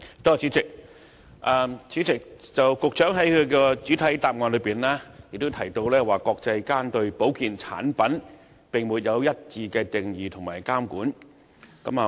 主席，局長在主體答覆中提到國際上對保健產品並沒有一致的定義及監管。